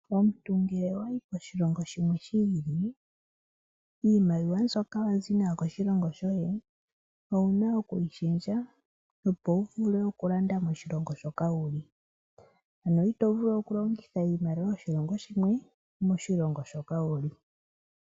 Omuntu ngele owayi koshilongo shimwe shili, iimaliwa mbyoka wazi nayo koshilongo shoye owuna okwi pingakanitha opo wuvule okulanda moshilongo hoka wuli ano itovulu okulongitha iimaliwa yoshilongo shimwe moshilongo shoka wuli.